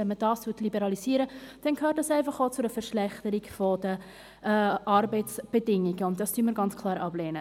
Wenn man das liberalisieren würde, dann führte das einfach auch zu einer Verschlechterung der Arbeitsbedingungen, und das lehnen wir ganz klar ab.